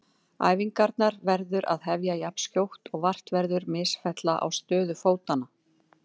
Æfingarnar verður að hefja jafnskjótt og vart verður misfellna á stöðu fótanna.